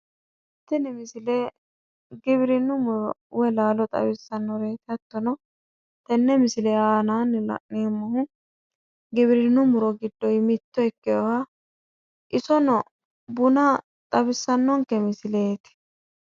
Tini misile giwirinnu muro woy laalo xawissannoreti hattono tenne misile aanaanni la'neemmohu giwirinnu laalo giddoyi mitto ikkeyooha isono buna xawissannonke misileeti.